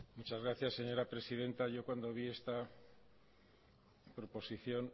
muchas gracias señora presidenta yo cuando vi esta proposición